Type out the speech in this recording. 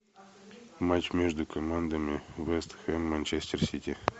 матч между командами вест хэм манчестер сити